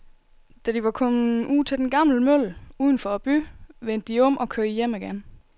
Da de var kommet ud til den gamle mølle uden for byen, vendte de om og kørte hjem igen.